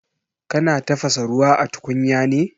Kana tafasa ruwa a tukunya ne?